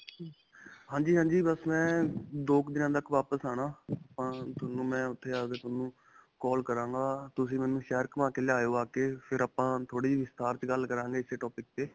ਹਾਂਜੀ. ਹਾਂਜੀ. ਬਸ ਮੈਂ ਦੋ ਕੁ ਦਿਨਾਂ ਤੱਕ ਵਾਪਿਸ ਆਉਣਾ. ਅਅ ਤੁਹਾਨੰ ਮੈਂ ਉੱਥੇ ਆ ਕੇ ਤੁਹਾਨੂੰ call ਕਰਾਂਗਾ. ਤੁਸੀਂ ਮੇਨੂੰ ਸ਼ਹਿਰ ਘੁਮਾ ਕੇ ਲਿਆਇਓ . ਆ ਕੇ ਫਿਰ ਆਪਾਂ ਥੋੜੀ ਵਿਸਥਾਰ ਵਿਚ ਗੱਲ ਕਰਾਂਗੇ ਇਸ topic 'ਤੇ.